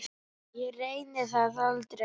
Ég reyni það aldrei.